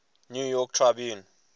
new york tribune